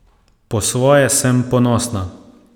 Po svoje sem ponosna.